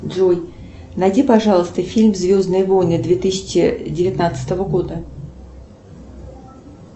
джой найди пожалуйста фильм звездные войны две тысячи девятнадцатого года